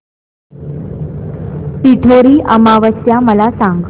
पिठोरी अमावस्या मला सांग